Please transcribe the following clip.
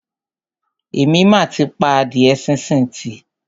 Èmi mà ti pa adíẹ sínsìn tì.